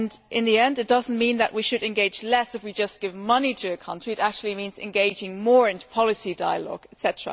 In the end it does not mean that we should engage less if we just give money to a country, it actually means engaging more, in policy dialogue, etc.